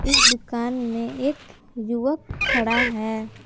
इस दुकान में एक युवक खड़ा है।